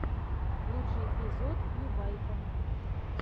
лучший эпизод кьюбайта